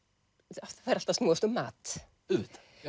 það fer allt að snúast um mat